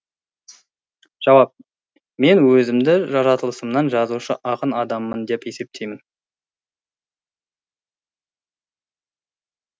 жауап мен өзімді жаратылысымнан жазушы ақын адаммын деп есептеймін